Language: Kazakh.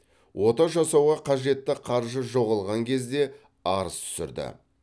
ота жасауға қажетті қаржы жоғалған кезде арыз түсірді